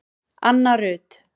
Anna Rut